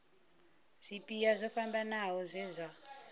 zwipia zwo fhambanaho zwe zwa